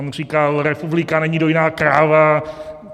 On říkal: Republika není dojná kráva.